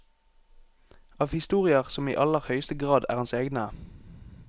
Av historier som i aller høyeste grad er hans egne.